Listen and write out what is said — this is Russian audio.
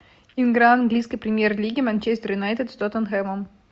игра английской премьер лиги манчестер юнайтед с тоттенхэмом